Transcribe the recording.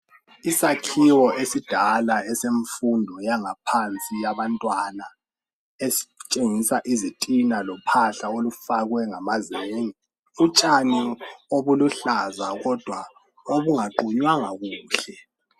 Isakhiwo esidala esemfundo yaphansi yabantwana, esitshengisa izitina lophahla olufakwe ngamazenge. Utshani obuluhlaza kodwa obungaqunywanga kuhle.